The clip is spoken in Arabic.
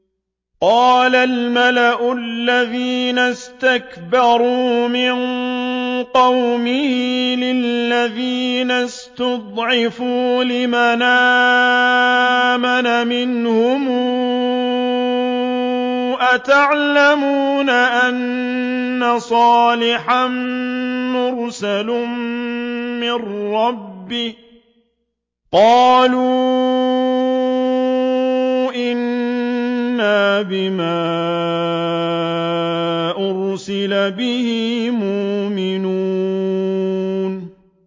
قَالَ الْمَلَأُ الَّذِينَ اسْتَكْبَرُوا مِن قَوْمِهِ لِلَّذِينَ اسْتُضْعِفُوا لِمَنْ آمَنَ مِنْهُمْ أَتَعْلَمُونَ أَنَّ صَالِحًا مُّرْسَلٌ مِّن رَّبِّهِ ۚ قَالُوا إِنَّا بِمَا أُرْسِلَ بِهِ مُؤْمِنُونَ